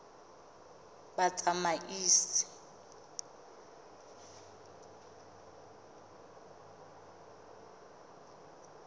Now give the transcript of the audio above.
batsamaisi